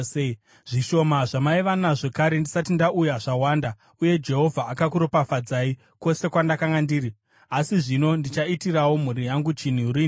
Zvishoma zvamaiva nazvo kare ndisati ndauya zvawanda, uye Jehovha akakuropafadzai kwose kwandakanga ndiri. Asi zvino, ndichaitirawo mhuri yangu chinhu riniko?”